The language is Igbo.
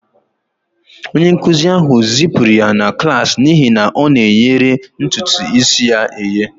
Onye nkụzi ahụ zipụrụ ya na klas n'ihi na ọ na-oyere ntutu isi ya eye